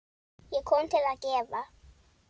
Ég kom til að gefa.